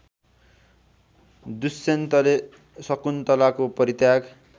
दुष्यन्तले शकुन्तलाको परित्याग